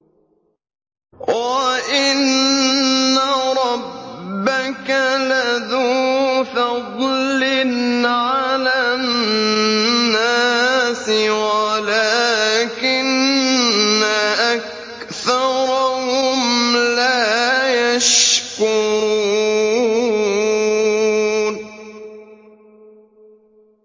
وَإِنَّ رَبَّكَ لَذُو فَضْلٍ عَلَى النَّاسِ وَلَٰكِنَّ أَكْثَرَهُمْ لَا يَشْكُرُونَ